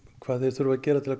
hvað þeir þurfa að gera til